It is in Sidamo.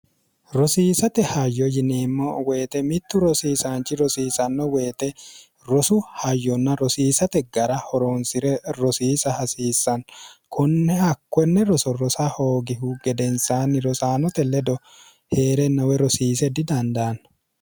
rosiisate hayyo yineemmo woyite mittu rosiisaanchi rosiisanno woyite rosu hayyonna rosiisate gara horoonsi're rosiisa hasiissanno konne hakkonne roso rosa hoogihu gedensaanni rosaanote ledo hee'rennowe rosiise didandaanno